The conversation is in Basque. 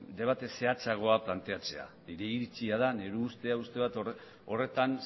debate zehatzagoa planteatzea nire iritzia da nire ustea horretan